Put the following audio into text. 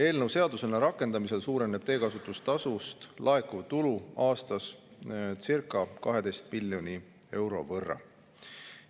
Eelnõu seadusena rakendamisel suureneb teekasutustasust laekuv tulu aastas circa 12 miljoni euro võrra.